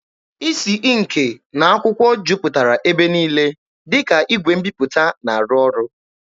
Isi ịnkị na akwụkwọ jupụtara ebe niile, dịka igwe mbiputa na-arụ ọrụ.